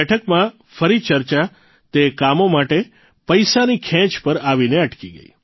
આ બેઠકમાં ફરી ચર્ચા તે કામો માટે પૈસાની ખેંચ પર આવીને અટકી ગઇ